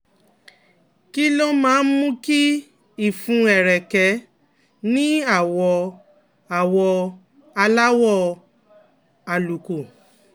Kí ló máa ń mú kí ìfun ẹ̀rẹ̀kẹ́ ní àwọ̀ àwọ̀ aláwọ̀ àlùkò?